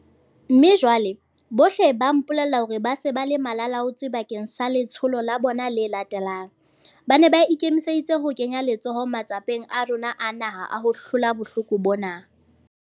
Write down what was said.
Mme jwale, bohle ba mpolella hore ba se ba le malalaalaotswe bakeng sa letsholo la bona le latelang. Ba ne ba ikemiseditse ho kenya letsoho matsapeng a rona a naha a ho hlola bohloko bona.